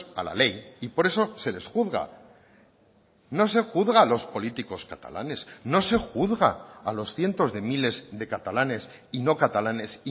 a la ley y por eso se les juzga no se juzga a los políticos catalanes no se juzga a los cientos de miles de catalanes y no catalanes